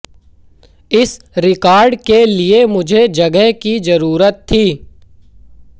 इस रिकॉर्ड के लिए मुझे जगह की जरूरत थी